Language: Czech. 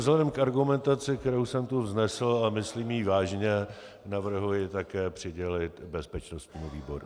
Vzhledem k argumentaci, kterou jsem tady vznesl, a myslím ji vážně, navrhuji také přidělit bezpečnostnímu výboru.